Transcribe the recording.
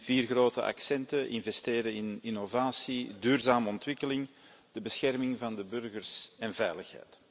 Vier grote accenten investeren in innovatie, duurzame ontwikkeling, de bescherming van de burgers en veiligheid.